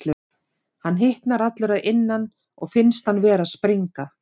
Hann hitnar allur að innan og finnst hann vera að springa.